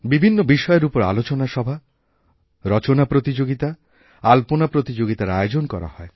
বিভিন্ন বিষয়ের উপর আলোচনা সভা রচনা প্রতিযোগিতা আল্পনা প্রতিযোগিতারআয়োজন করা হয়